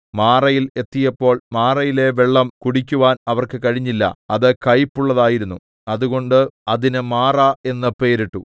മാറയിൽ എത്തിയപ്പോൾ മാറയിലെ വെള്ളം കുടിക്കുവാൻ അവർക്ക് കഴിഞ്ഞില്ല അത് കയ്പുപ്പുള്ളതായിരുന്നു അതുകൊണ്ട് അതിന് മാറാ എന്ന് പേരിട്ടു